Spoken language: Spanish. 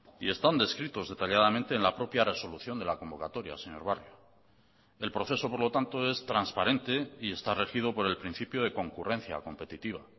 y están descritos detalladamente en la propia resolución de la convocatoria señor barrio el proceso por lo tanto es transparente y está regido por el principio de concurrencia competitiva